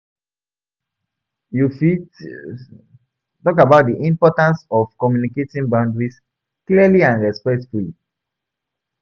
You fit talk about di importance of communicating boundaries clearly and respectfully.